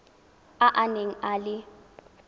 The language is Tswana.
a a neng a le